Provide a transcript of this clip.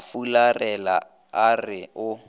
a fularela a re o